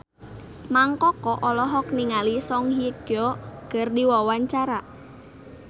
Mang Koko olohok ningali Song Hye Kyo keur diwawancara